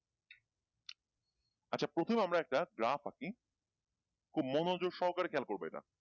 আচ্ছা প্রথমে আমরা একটা graph আঁকি খুব মনোযোগ সহকারে খেয়াল করবে এটা ।